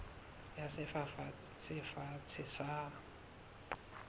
ya sefafatsi se fatshe sa